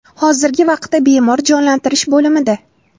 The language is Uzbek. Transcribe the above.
Hozirgi vaqtda bemor jonlantirish bo‘limida.